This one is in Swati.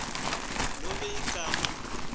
lalomuntfu nobe ligama